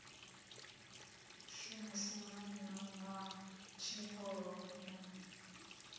u shumiseswa ha tshivhuru na